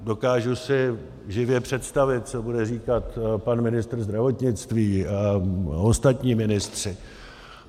Dokážu si živě představit, co bude říkat pan ministr zdravotnictví a ostatní ministři.